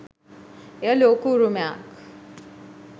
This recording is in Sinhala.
එය ලෝක උරුමයක්